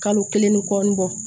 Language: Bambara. Kalo kelen ni kɔɔni bɔ